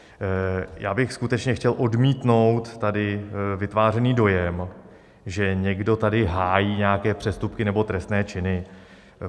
Já bych skutečně chtěl odmítnout tady vytvářený dojem, že někdo tady hájí nějaké přestupky nebo trestné činy.